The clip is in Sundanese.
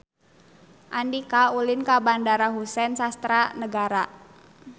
Andika ulin ka Bandara Husein Sastra Negara